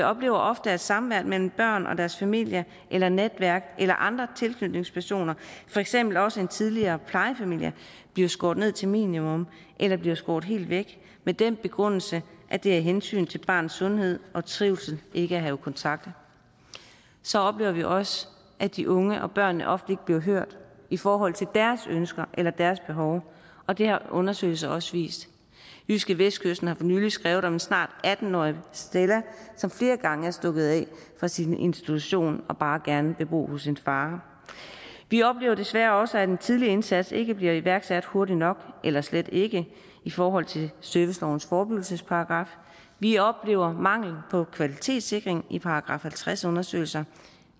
oplever ofte at samværet mellem børn og deres familie eller netværk eller andre tilknytningspersoner for eksempel også en tidligere plejefamilie bliver skåret ned til et minimum eller bliver skåret helt væk med den begrundelse at det er af hensyn til barnets sundhed og trivsel ikke at have kontakt så oplever vi også at de unge og børnene ofte ikke bliver hørt i forhold til deres ønsker eller deres behov og det har undersøgelser også vist jydskevestkysten har for nylig skrevet om den snart atten årige stella som flere gange er stukket af fra sin institution og bare gerne vil bo hos sin far vi oplever desværre også at en tidlig indsats ikke bliver iværksat hurtigt nok eller slet ikke i forhold til servicelovens forebyggelsesparagraf vi oplever mangel på kvalitetssikring i § halvtreds undersøgelser